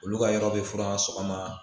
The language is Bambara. Olu ka yɔrɔ bɛ fura sɔgɔma